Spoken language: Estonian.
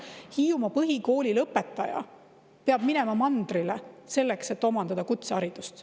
Hiiumaa põhikoolilõpetaja peab minema mandrile, selleks et omandada kutseharidust.